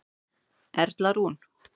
Erla Rún.